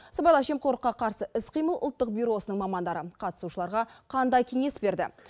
сыбайлас жемқорлыққа қарсы іс қимыл ұлттық бюросының мамандары қатысушыларға қандай кеңес берді